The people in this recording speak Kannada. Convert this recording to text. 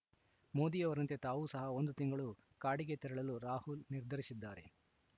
ಮೋದಿ ಅವರಂತೆ ತಾವೂ ಸಹ ಒಂದು ತಿಂಗಳು ಕಾಡಿಗೆ ತೆರಳಲು ರಾಹುಲ್‌ ನಿರ್ಧರಿಸಿದ್ದಾರೆ